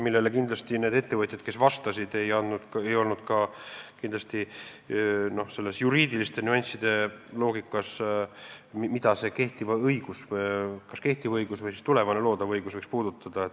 Kindlasti ei olnud need ettevõtjad, kes vastasid, kodus selles juriidiliste nüansside loogikas, mida kas kehtiv õigus või loodav õigus võiks puudutada.